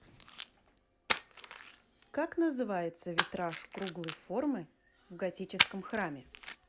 как называется витраж круглой формы в готическом храме